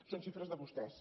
són xifres de vostès